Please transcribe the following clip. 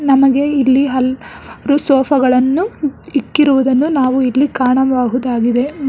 ನಮಗೆ ಇಲ್ಲಿ ಹಲ್ ರು ಸೊಪ ಗಳನ್ನು ಇಕ್ಕಿರುದನ್ನು ನಾವು ಇಲ್ಲಿ ಕಾಣಬಹುದಾಗಿದೆ ಮ್--